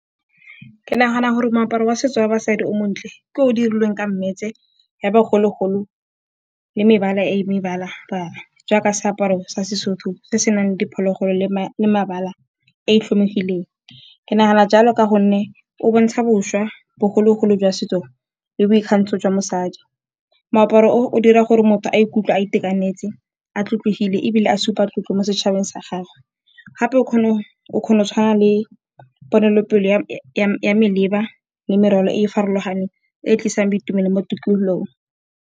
Ke nagana gore moaparo wa setso wa basadi o montle ke o dirilweng ka mmetshe ya bogologolo le mebala e mebala-bala, jaaka seaparo sa Sesotho se senang diphologolo le mabala e tlhomegileng. Ke nagana jalo ka gonne o bontsha boswa, bogologolo jwa setso le boikgantsho jwa mosadi. Moaparo o o dira gore motho a ikutlwe a itekanetse, a tlotlegile ebile a supa tlotlo mo setšhabeng sa gagwe gape o kgona go tshwana le ponelopele ya maleba le meraro e farologaneng e tlisang boitumelo mo tikololong.